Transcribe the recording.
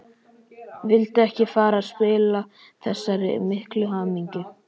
Vildi ekki fara að spilla þessari miklu hamingju.